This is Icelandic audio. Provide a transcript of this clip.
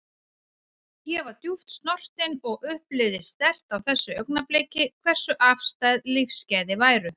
Ég var djúpt snortin og upplifði sterkt á þessu augnabliki hversu afstæð lífsgæði væru.